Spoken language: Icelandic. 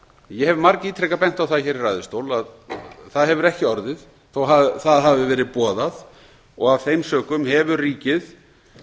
ég hef margítrekað bent á það hér í ræðustól að það hefur ekki orðið þótt það hafi verið boðað og af þeim sökum hefur ríkið